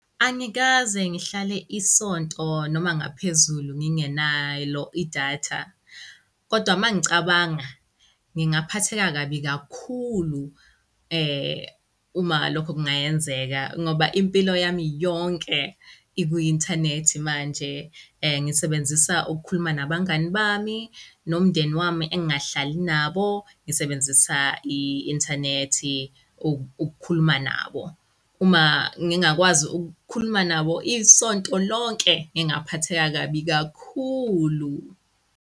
Angikaze ngihlale isonto noma ngaphezulu ngingenalo i-data kodwa mangicabanga, ngaphatheka kabi kakhulu. Uma lokho kungayenzeka ngoba impilo yami yonke ikwi-inthanethi manje, ngisebenzisa ukukhuluma nabangani bami nomndeni wami engingahlali nabo ngisebenzisa i-inthanethi uku ukukhuluma nabo uma ngingakwazi ukukhuluma nabo isonto lonke ngaphatheka kabi kakhulu.